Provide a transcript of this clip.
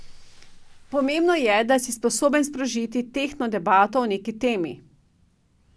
Pomembno je, da si sposoben sprožiti tehtno debato o neki temi.